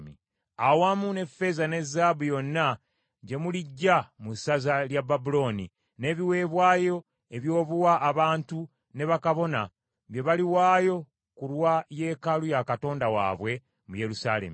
awamu n’effeeza ne zaabu yonna gye muliggya mu ssaza lya Babulooni, n’ebiweebwayo eby’obuwa abantu ne bakabona bye baliwaayo ku lwa yeekaalu ya Katonda waabwe mu Yerusaalemi.